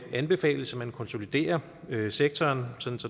anbefales at man konsoliderer sektoren sådan